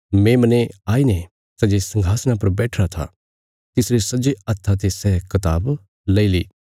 मेमने आईने सै जे संघासणा पर बैठिरा था तिसरे सज्जे हत्था ते सै कताब लेई ली